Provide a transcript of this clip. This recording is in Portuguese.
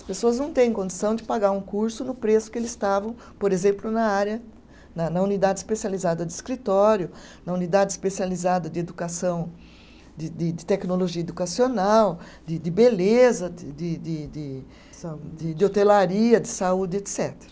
As pessoas não têm condição de pagar um curso no preço que eles estavam, por exemplo, na área, na na unidade especializada de escritório, na unidade especializada de educação, de de de tecnologia educacional, de de beleza, de de de de. Saúde. De hotelaria, de saúde, etcetera